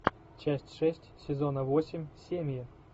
часть шесть сезона восемь семьи